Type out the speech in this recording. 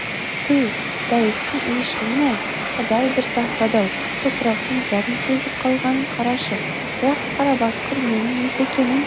түу дәйістің иісшілін-ай құдай бір сақтады-ау топырақтың зәгін сезіп қалғанын қарашы бірақ қарабасқыр ненің иісі екенін